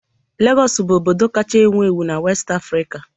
Lagos bụ obodo kacha ewu ewu na West Africa